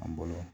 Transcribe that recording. An bolo